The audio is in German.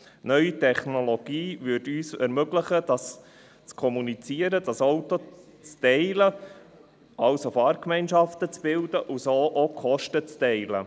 Neue Technologien würden uns ermöglichen zu kommunizieren, das Auto zu teilen, also Fahrgemeinschaften zu bilden, und so auch die Kosten zu teilen.